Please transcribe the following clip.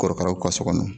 Korokaraw ka so kɔnɔ